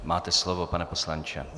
Máte slovo, pane poslanče.